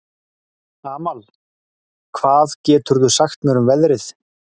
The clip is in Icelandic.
Amal, hvað geturðu sagt mér um veðrið?